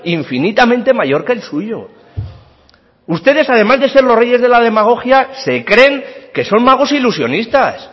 infinitamente mayor que el suyo ustedes además de ser los reyes de la demagogia se creen que son magos ilusionistas